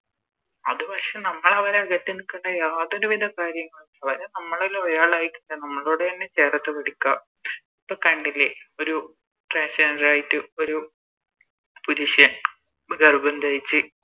അത് പക്ഷെ നമ്മളവനെ അകറ്റി നിക്കണ്ട യാതൊരുവിധ കാര്യങ്ങളും നമ്മളിലൊരാളായി നമ്മളോടന്നെ ചേർത്ത് പിടിക്ക ഇപ്പൊ കണ്ടില്ലേ ഒരു Trance gender ആയിറ്റ് ഒരു പുരുഷൻ ഗർഭം ധരിച്ച്